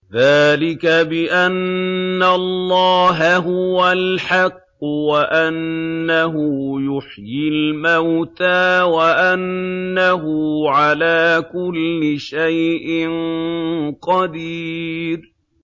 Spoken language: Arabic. ذَٰلِكَ بِأَنَّ اللَّهَ هُوَ الْحَقُّ وَأَنَّهُ يُحْيِي الْمَوْتَىٰ وَأَنَّهُ عَلَىٰ كُلِّ شَيْءٍ قَدِيرٌ